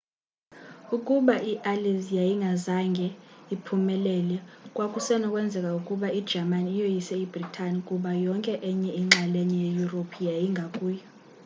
ukuba iallies yayingazange iphumelele kwakusenokwenzeka ukuba ijamani iyoyise ibrithani kuba yonke enye inxalenye yeyurophu yayingakuyo